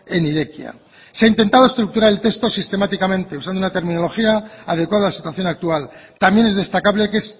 en irekia se ha intentado estructurar el texto sistemáticamente usando una terminología adecuada a la situación actual también es destacable que